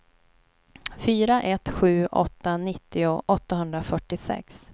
fyra ett sju åtta nittio åttahundrafyrtiosex